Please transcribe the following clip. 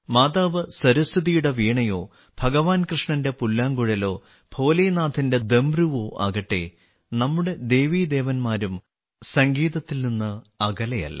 മാതാവ് സരസ്വതിയുടെ വീണയോ ഭഗവാൻ കൃഷ്ണന്റെ പുല്ലാങ്കുഴലോ ഭോലേനാഥിന്റെ ഡമരു ആകട്ടെ നമ്മുടെ ദേവീദേവന്മാരും സംഗീതത്തിൽ നിന്ന് അകലെയല്ല